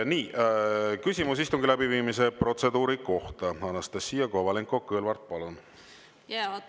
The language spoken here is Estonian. Nii, küsimus istungi läbiviimise protseduuri kohta, Anastassia Kovalenko‑Kõlvart, palun!